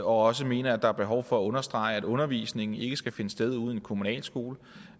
også mene at der er behov for at understrege at undervisning ikke skal finde sted ude i en kommunal skole